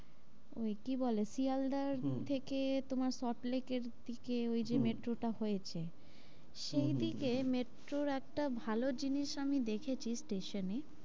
ওই কি বলে? শিয়ালদার থেকে হম তোমার সল্টলেক এর দিকে হম ওই যে metro টা হয়েছে হম সেই দিকে metro ওর একটা ভালো জিনিস আমি দেখেছি station এ